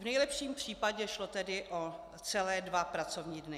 V nejlepším případě šlo tedy o celé dva pracovní dny.